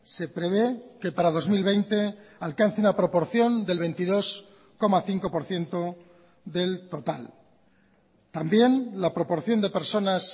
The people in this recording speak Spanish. se prevé que para dos mil veinte alcance una proporción del veintidós coma cinco por ciento del total también la proporción de personas